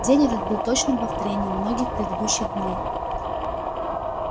день этот был точным повторением многих предыдущих дней